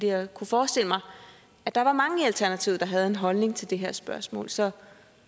jeg kunne forestille mig at der var mange i alternativet der havde en holdning til det her spørgsmål så